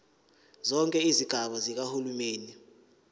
zonke izigaba zikahulumeni